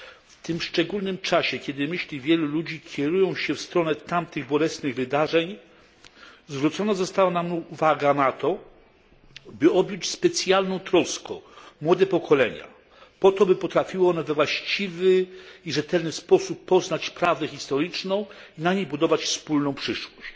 W tym szczególnym czasie, kiedy myśli wielu ludzi kierują się w stronę tamtych bolesnych wydarzeń, zwrócona została nam uwaga na to, by objąć specjalną troską młode pokolenia, aby potrafiły one we właściwy i rzetelny sposób poznać prawdę historyczną i na niej budować wspólną przyszłość.